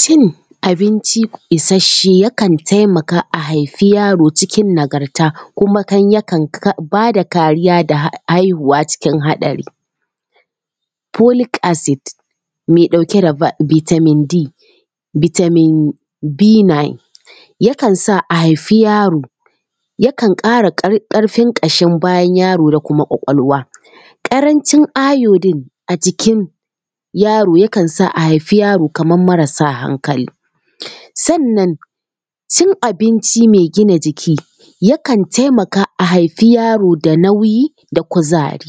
Cin abinci isasshe yakan taimaka a haifi yaro cikin nagarta kuma yakan ba da kariya ga haihuwa cikin haɗari. Folic acid mai ɗauke da vitamin D vitamin B9 yakan sa a haifi yaro, yakan ƙara ƙarfin ƙashin bayan yaro da kuma ƙwaƙwalwa. Ƙarancin iodine a jikin yaro yakan sa a haifi yaro kamar marasa hankali. Sannan cin abinci mai gina jiki yakan taimaka a haifi yaro da nauyi da kuzari.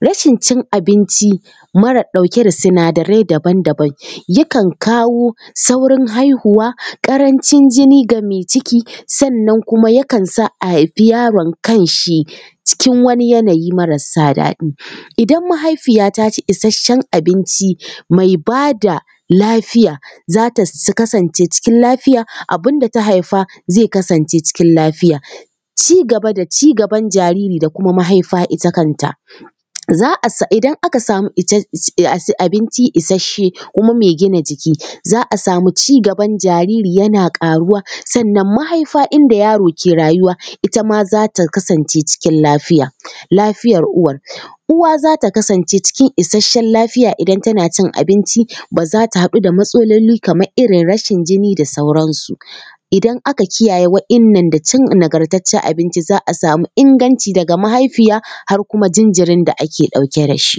Rashin cin abinci mara ɗauke da sinadarai daban daban yakan kawo saurin haihuwa, ƙarancin jini ga mai ciki, sannan kuma yakan sa a haifi yaron kanshi cikin yanayi marasa daɗi. Idan mahaifiya ta ci isasshen abinci, mai ba da lafiya, za ta kasance cikin lafiya, abin da ta haifa zai kasance cikin lafiya. Ci gaba da ci gaban jariri da kuma mahaifa ita kanta: idan aka samu abinci isasshe kuma mai gina jiki, za a samu ci gaban jariri yana ƙaruwa, sannan mahaifa inda yaro ke rayuwa ita ma za ta kasance cikin lafiya. Lafiyar uwar: uwa za ta kasance cikin isasshen lafiya idan tana cin abinci, ba za ta haɗu da matsaloli kamar irin rashin jini da sauransu. Idan aka kiyaye waɗannan da cin nagartaccen abinci za a samu inganci daga mahaifiya har kuma jinjirin da ake ɗauke da shi.